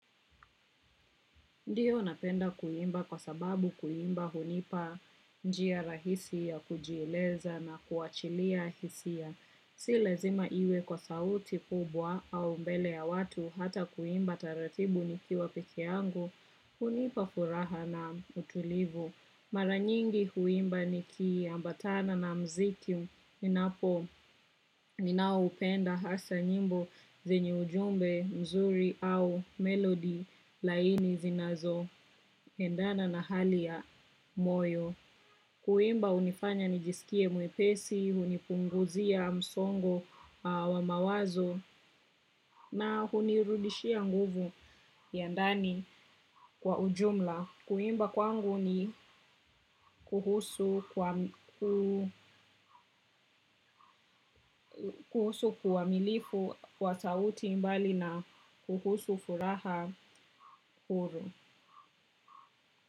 Ndiyo napenda kuimba kwa sababu kuimba hunipa njia rahisi ya kujieleza na kuachilia hisia. Si lazima iwe kwa sauti kubwa au mbele ya watu hata kuimba taratibu nikiwa peke yangu, hunipa furaha na utulivu. Maranyingi huimba ni ki ambatana na mziki ninapo ninaoupenda. Hasa nyimbo zenye ujumbe mzuri au melody laini zinanzoendana na hali ya moyo. Kuimba hunifanya nijisikie mwepesi, hunipunguzia msongo wa mawazo na hunirudishia nguvu ya ndani kwa ujumla. Kuimba kwangu ni, kuhusu kuamilifu wa sauti mbali na kuhusu furaha, uru.